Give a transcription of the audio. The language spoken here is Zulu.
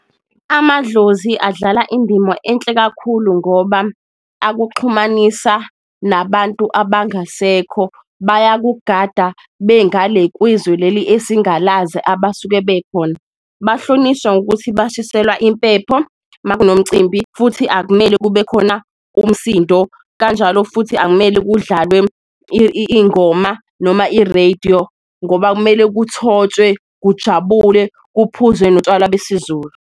Amadlozi adlala indima enhle kakhulu ngoba akuxhumanisa nabantu abangasekho bayakugada bengale kwizwe leli esingalazi abasuke bekhona, bahlonishwa ngokuthi bashiselwa impepho makunomcimbi futhi akumele kube khona umsindo. Kanjalo futhi akumele kudlalwe ingoma noma irediyo ngoba kumele kuthotshwe, kujabule, kuphuzwe notshwala besiZulu.